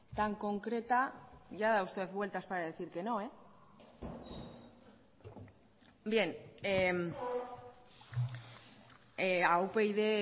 tan concreta ya da usted vueltas para decir que no bien a upyd